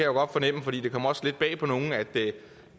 jo godt fornemme for det kommer jo også lidt bag på nogle